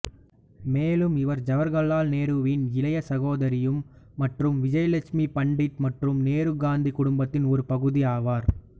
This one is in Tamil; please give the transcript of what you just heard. மேலும் இவர் ஜவகர்லால் நேருவின் இளைய சகோதரியும் மற்றும் விஜயலட்சுமி பண்டிட் மற்றும் நேருகாந்தி குடும்பத்தின் ஒரு பகுதி ஆவார்